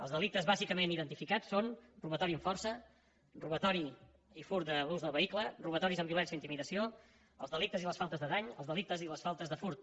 els delictes bàsicament identificats són robatori amb força robatori i furt de l’ús del vehicle robatoris amb violència i intimidació els delictes i les faltes de dany els delictes i les faltes de furt